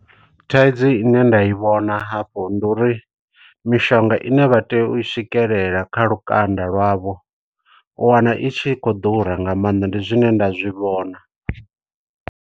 Thaidzo ine nda i vhona hafhu ndi uri, mishonga ine vha tea u swikelela kha lukanda lwavho, u wana itshi i khou ḓura nga maanḓa. Ndi zwine nda zwi vhona.